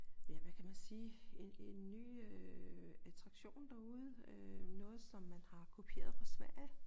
Ja hvad kan man sige en en ny øh attraktion derude øh noget som man har kopieret fra Sverige